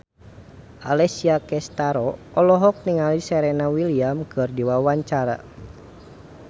Alessia Cestaro olohok ningali Serena Williams keur diwawancara